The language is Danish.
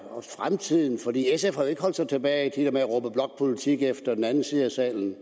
holdt sig tilbage med at råbe blokpolitik efter den anden side af salen